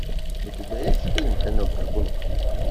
у тебя есть фильм конек горбунок